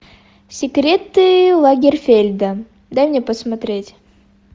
секреты лагерфельда дай мне посмотреть